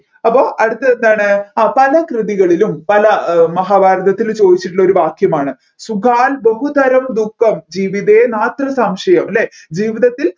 അപ്പോ അടുത്തതെന്താണ് ആ പല കൃതികളിലും പല മഹാഭാരതത്തിലും ചോദിച്ചിട്ടുള്ള ഒരു വാക്യമാണ് സുഗാൻ ബഹുതരം ദുഃഖം ജീവിതേ മാത്ര സംശയം അല്ലെ ജീവിതത്തിൽ